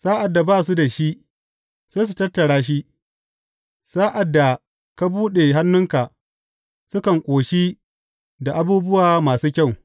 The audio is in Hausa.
Sa’ad da ba su da shi, sai su tattara shi; sa’ad da ka buɗe hannunka, sukan ƙoshi da abubuwa masu kyau.